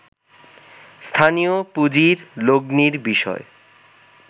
স্থানীয় পুঁজির লগ্নির বিষয়